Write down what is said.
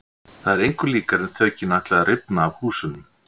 Það var engu líkara en þökin ætluðu að rifna af húsunum.